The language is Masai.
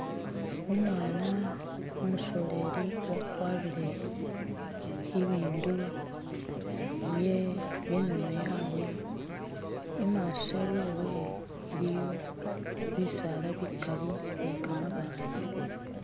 umwana umusoleli wakwarire ibindu byenono yawe imaso wewe iliyo bisaala bikali nikamabaale